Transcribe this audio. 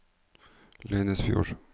Leinesfjord